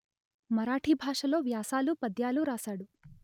మరాఠీ భాషలో వ్యాసాలు పద్యాలు రాసాడు